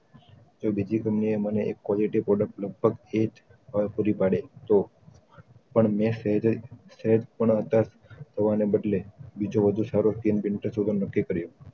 જો બીજી કમ્પની એ મને એક quality product લગભગ એજ પાડે ત પણ મેં એવી રીત્તે સેહેજ પણ અત્યાર હોવાના બદલે બીજો બધું સારું screen painter શોધવાનું નક્કી કર્યો